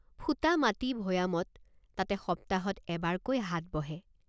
ফোটামাটি ভৈয়ামত তাতে সপ্তাহত এবাৰকৈ হাট বহে।